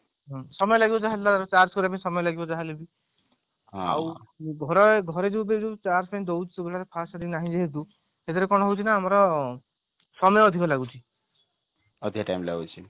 ସମୟ ଲାଗିବ ଯାହା charge ସରିବା ପାଇଁ ଯାହା ହେଲେ ବି ଆଉ ଘରେ ଯୋଉ charge ପାଇଁ ଦଉଛୁ ମାନେ first ନାହିଁ ଯେହେତୁ ସେଥିରେ କଣ ହଉଛି ନା ସମୟ ଅଧିକ ଲାଗୁଛି